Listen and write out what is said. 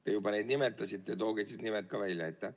Te juba seda nimetasite, tooge siis nimed ka välja.